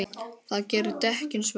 Það gerir dekkin svört.